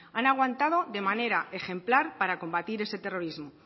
han aguantado de manera ejemplar para combatir ese terrorismo